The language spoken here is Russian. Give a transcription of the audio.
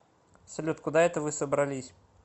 салют куда это вы собрались